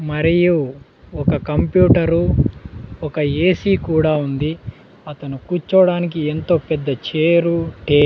మరియు ఒక కంప్యూటరు ఒక ఏ_సీ కూడా ఉంది అతను కూర్చోడానికి ఎంతో పెద్ద చేరు టే--